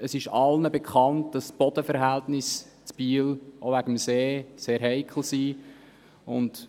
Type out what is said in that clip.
Es ist zudem allen bekannt, dass die Bodenverhältnisse in Biel auch wegen des Sees sehr heikel sind.